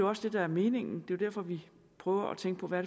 også det der er meningen det er jo derfor vi prøver at tænke på hvad